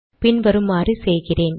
பின் வருமாறு செய்கிறேன்